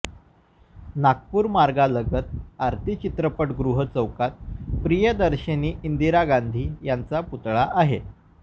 नागपूर मार्गालगत आरती चित्रपटगृह चौकात प्रियदर्शिनी इंदिरा गांधी यांचा पुतळा आहे